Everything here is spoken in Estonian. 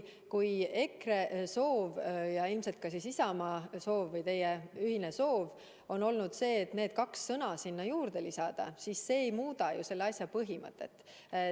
Kui EKRE ja ilmselt siis ka Isamaa soov, teie ühine soov on need kaks sõna sinna juurde lisada, siis see ei muuda selle muudatuse põhimõtet.